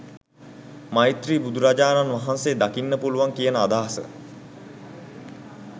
මෛත්‍රී බුදුරජාණන් වහන්සේ දකින්න පුළුවන් කියන අදහස.